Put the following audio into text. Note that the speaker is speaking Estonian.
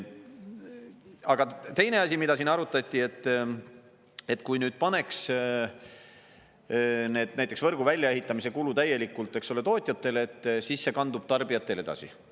Aga teine asi, mida siin arutati, et kui nüüd paneks näiteks võrgu väljaehitamise kulu täielikult, eks ole, tootjatele, et siis see kandub tarbijatele edasi.